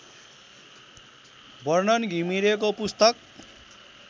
वर्णन घिमिरेको पुस्तक